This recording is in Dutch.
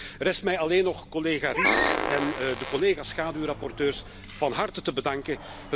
Er rest mij alleen nog collega Ries en de collega's schaduwrapporteurs van harte te bedanken.